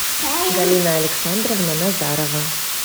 галина александровна назарова